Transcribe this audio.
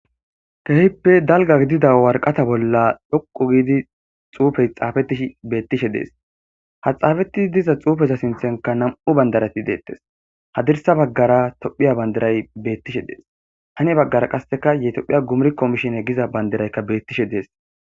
Keehippe dalga gidida warqata bolla dhoqu giidi xuufey xaafetih beettishe dees ha xaafetti diza xuufeza sinthenka nam7u bandarati deettes hadirsa baggara tophiya bandiray bettishe dees hane baggara qasseka yetophiya gumriko mishine giza bandiraykka beettishe dees.